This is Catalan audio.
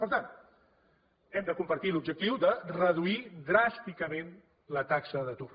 per tant hem de compartir l’objectiu de reduir dràsticament la taxa d’atur